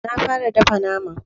Na fara dafa naman.